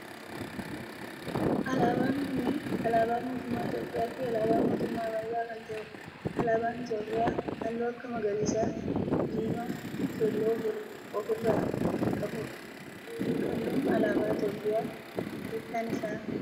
Alaabaan kunneen alaabaa mootummaa Itiyoophiyaa fi alaabaa mootummaa Ameerikaa kan ta'edha. alaabaan Itiyoophiyaa halluu akka magariisa, diimaa fi keelloo of irraa kan qabu dha. halluun alaabaa Itiyoophiyaa hiikkaan isaa maalidha?